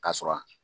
K'a sɔrɔ